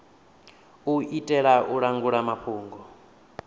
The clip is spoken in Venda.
u itela u langula mafhungo